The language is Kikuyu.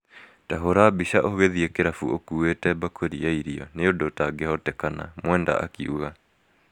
" Ta hũũra mbica ũgĩthiĩ kĩrabu ũkuĩte bakũri ya irio - nĩ ũndũ ũtangĩhotekana" Mwenda akiuga